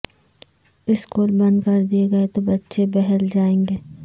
school بند کر دیں گے تو بچے بہل جایئں گے